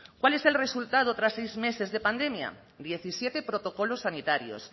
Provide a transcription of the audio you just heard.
cuál es el resultado tras seis meses de pandemia diecisiete protocolos sanitarios